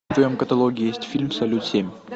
в твоем каталоге есть фильм салют семь